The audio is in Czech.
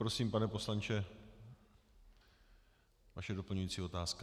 Prosím, pane poslanče, vaše doplňující otázka.